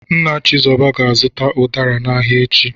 Nna Chizoba ga-azụta ụdara n'ahịa echi.